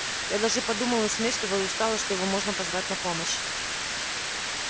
я даже подумал насмешливо и устало что его можно позвать на помощь